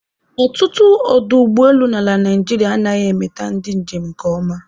Ọtụtụ ọdụ ụgbọelu n'ala Naịjirịa anaghị emeta ndị njem nke ọma